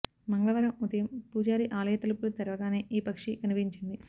మంగళవారం ఉదయం పూజారి ఆలయ తలుపులు తెరవగానే ఈ పక్షి కనిపించింది